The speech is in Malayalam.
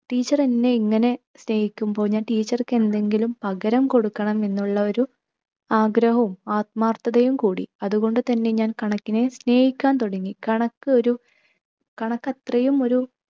teacher എന്നെ ഇങ്ങനെ സ്‌നേഹിക്കുമ്പോൾ ഞാൻ teacher ക്ക് എന്തെങ്കിലും പകരം കൊടുക്കണമെന്നുള്ളൊരു ആഗ്രഹവും ആത്മാർത്ഥതയും കൂടി. അതുകൊണ്ടു തന്നെ ഞാൻ കണക്കിനെ സ്നേഹിക്കാൻ തുടങ്ങി കണക്കൊരു, കണക്ക് അത്രയും ഒരു